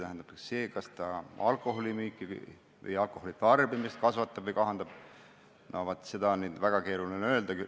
Seda, kas see alkoholimüüki või alkoholitarbimist kasvatab või kahandab, on väga keeruline öelda.